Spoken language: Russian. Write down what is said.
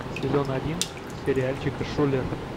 сезон один сериальчик шулер